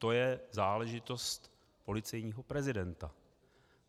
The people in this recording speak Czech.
To je záležitost policejního prezidenta.